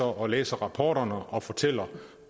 og læser rapporterne og fortæller